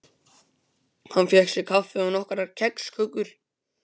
Hann fékk sér kaffi og nokkrar kexkökur.